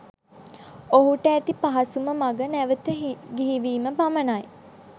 ඔහුට ඇති පහසුම මග නැවත ගිහි වීම පමනයි.